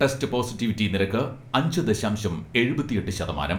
Test positivity നിരക്ക് അഞ്ച് ദശാംശം എഴുപത്തിയെട്ട് ശതമാനം.